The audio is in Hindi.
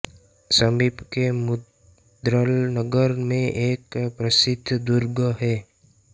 समीप के मुद्गल नगर में एक प्रसिद्ध दुर्ग है